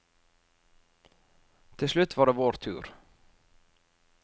Til slutt var det vår tur.